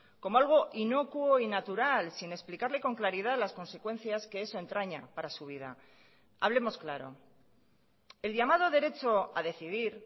como algo inocuo y natural sin explicarle con claridad las consecuencias que eso entraña para su vida hablemos claro el llamado derecho a decidir